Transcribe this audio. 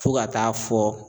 Fo ka t'a fɔ